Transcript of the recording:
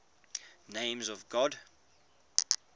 names of god